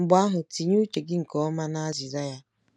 Mgbe ahụ tinye uche gị nke ọma na azịza ya.